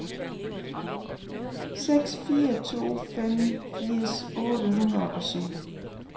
seks fire to fem firs otte hundrede og syv